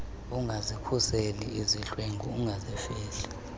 ungazikhuseli izidlwengu ungazifihli